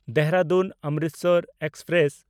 ᱫᱮᱦᱨᱟᱫᱩᱱ–ᱚᱢᱨᱤᱥᱚᱨ express